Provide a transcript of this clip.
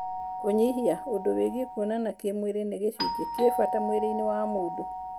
Kũnyihia, ũndũ wigie kuona kĩmwĩrĩ nĩ gĩcujĩ kĩ bata mwĩrĩinĩ wa mũndũ.